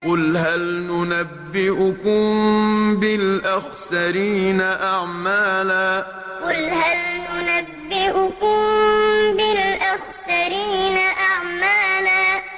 قُلْ هَلْ نُنَبِّئُكُم بِالْأَخْسَرِينَ أَعْمَالًا قُلْ هَلْ نُنَبِّئُكُم بِالْأَخْسَرِينَ أَعْمَالًا